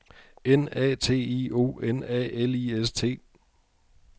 N A T I O N A L I S T